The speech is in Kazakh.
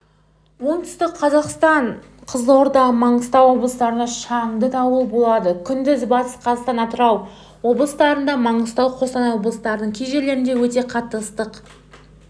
оңтүстік қазақстан қызылорда маңғыстау облыстарында шаңды дауыл болады күндіз батыс қазақстан атырау облыстарында маңғыстау қостанай облыстарының кей жерлерінде өте қатты ыстық